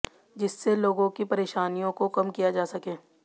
जिससे लोगों की परेशानियों को कम किया जा सके